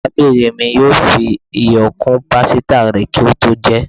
Arábínrín mí yóò fí ìyọ kún pásítá rè kí o tó jé